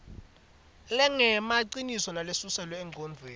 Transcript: lengemaciniso nalesuselwe engcondvweni